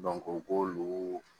u k'olu